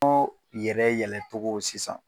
Oo yɛrɛ yɛlɛtogo sisan